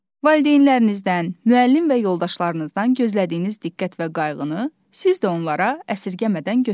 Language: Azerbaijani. Valideynlərinizdən, müəllim və yoldaşlarınızdan gözlədiyiniz diqqət və qayğını siz də onlara əsirgəmədən göstərin.